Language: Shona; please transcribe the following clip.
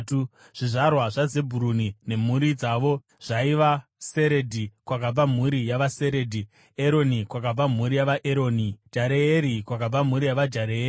Zvizvarwa zvaZebhuruni nemhuri dzavo zvaiva: Seredhi, kwakabva mhuri yavaSeredhi; Eroni, kwakabva mhuri yavaEroni; Jareeri, kwakabva mhuri yavaJareeri.